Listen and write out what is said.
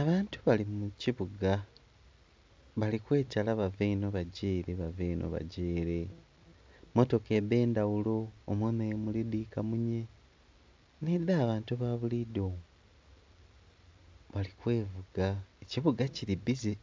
Abantu bali mukibuga bali kwetala bava eno bagya ere bava eno bagya ere mmotoka edhendhaghulo omwo nomuli dhikamunye n'edha bantu babulido bali kwevuga ekibuga kiri bbize.